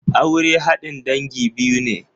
Aure haɗin dangi biyu ne.